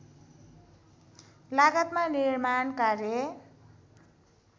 लागतमा निर्माण कार्य